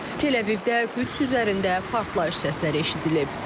Tel-Əvivdə Qüds üzərində partlayış səsləri eşidilib.